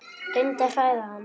Reyndi að hræða hann.